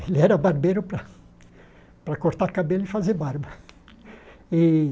Ele era barbeiro para para cortar cabelo e fazer barba. E